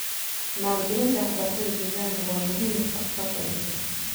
Maalgelinta waxbarashada deegaanka waa muhiim mustaqbalka adduunka.